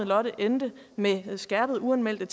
lotte endte med skærpede uanmeldte